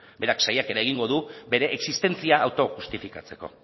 berak saiakera egingo du bere existentzia autojustifikatzeko